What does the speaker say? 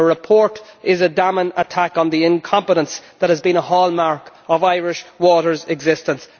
The report is a damning attack on the incompetence that has been a hallmark of Irish Water's existence.